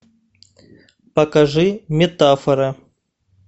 покажи метафора